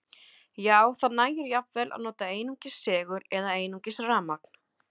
Já, það nægir jafnvel að nota einungis segul eða einungis rafmagn.